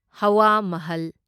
ꯍꯋꯥ ꯃꯍꯜ